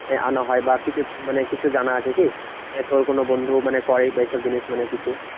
আনানো হয় বা কিছু মানে কিছু জানা আছে কি? তোর কোনো বন্ধু মানে করে বা এইসব জিনিস মানে কিছু?